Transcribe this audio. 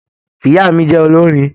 Ìyá mí jẹ olorin.